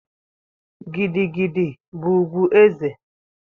Gidi gidi bụ ugwu eze